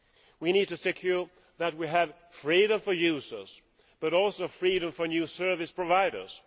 We need to ensure that we have freedom for users but also freedom for new service providers.